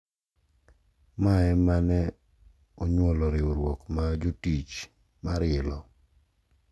Ma ema ne onyuolo riwruok mar jotich mar ILO,